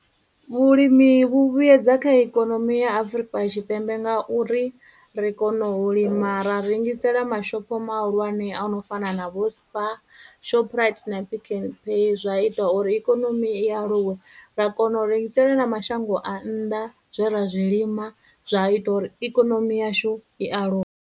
Vhulimi vhu vhuyedza kha ikonomi ya Afurika Tshipembe ngauri ri kono u lima ra rengisela mashopho mahulwane ano fana na vho Spar, Shoprite, na Pick n Pay zwa ita uri ikonomi i aluwe, ra kona u rengisela na mashango a nnḓa zwe ra zwi lima zwa ita uri ikonomi yashu i aluwe.